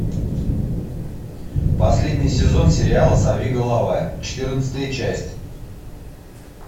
последний сезон сериала сорви голова четырнадцатая часть